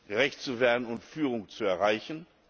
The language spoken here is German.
gerecht zu werden und Führung zu erreichen.